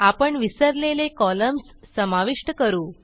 आपण विसरलेले कॉलम्स समाविष्ट करू